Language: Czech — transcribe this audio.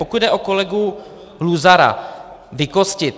Pokud jde o kolegu Luzara - vykostit.